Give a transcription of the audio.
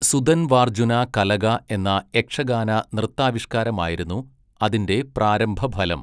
സുദൻവാർജ്ജുന കലഗ എന്ന യക്ഷഗാന നൃത്താവിഷ്കാരമായിരുന്നു അതിൻ്റെ പ്രാരംഭഫലം.